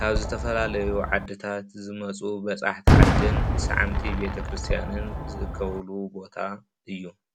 ካብ ዝተፈላለዩ ዓድታት ዝመፁ በፃሕቲ ዓድን ሳዓምቲ ቤተክርስትያን ዝእከቡሉ ቦታ እዩ።